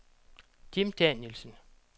Jim Danielsen